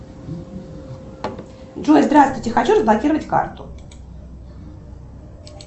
джой здравствуйте хочу разблокировать карту